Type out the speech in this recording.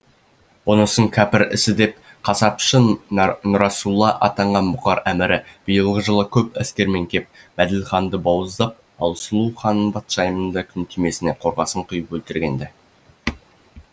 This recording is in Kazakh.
бұнысын кәпір ісі деп қасапшы нұрасулла атанған бұқар әмірі биылғы жылы көп әскерімен кеп мәделіханды бауыздап ал сұлу хан патшайымның күнтимесіне қорғасын құйып өлтірген ді